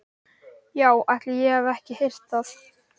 Já, ætli ég hafi ekki heyrt það!